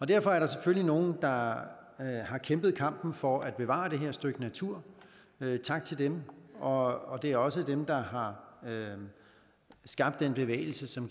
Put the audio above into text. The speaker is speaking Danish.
derfor er der selvfølgelig nogle der har kæmpet kampen for at bevare det her stykke natur tak til dem og det er også dem der har skabt den bevægelse som